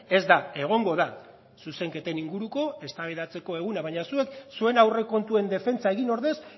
ez da egongo da zuzenketen inguruko eztabaidatzeko eguna baina zuek zuen aurrekontuen defentsa egin ordez